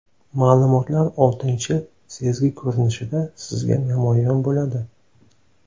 Ma’lumotlar oltinchi sezgi ko‘rinishida sizga namoyon bo‘ladi.